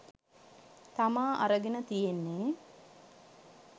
තමා අරගෙන තියෙන්නේ.